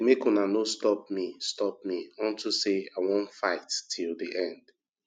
abeg make una no stop me stop me unto say i wan fight till the end